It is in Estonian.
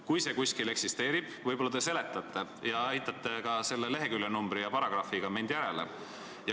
Kui see kuskil kirjas on, siis võib-olla te aitate mul seda leheküljenumbrit ja paragrahvi leida.